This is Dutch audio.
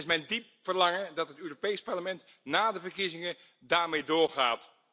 Het is mijn diep verlangen dat het Europees Parlement na de verkiezingen daarmee doorgaat.